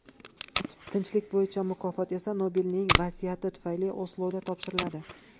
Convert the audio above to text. Tinchlik bo‘yicha mukofot esa Nobelning vasiyati tufayli Osloda topshiriladi.